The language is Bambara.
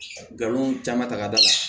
Galon caman ta ka d'a kan